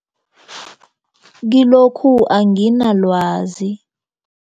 Kilokhu anginalwazi.